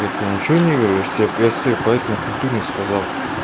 я тебе ничего не говорю я ж тебе я ж тебе поэтому культурно сказал